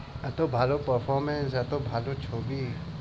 এত ভালো performance এত ভালো ছবি।